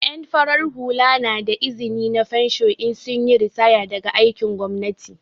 En farar hula na da izni na fensho in sun yi ritaya daga aikin gwamnati.